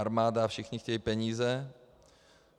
Armáda a všichni chtějí peníze.